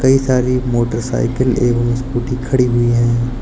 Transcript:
सारी मोटरसाइकिल एवं स्कूटी खड़ी हुई है।